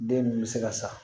Den min bɛ se ka sa